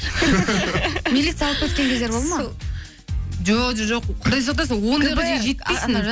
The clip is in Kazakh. милиция алып кеткен кездер болды ма жоқ құдай сақтасын ондайға дейін жетпейсің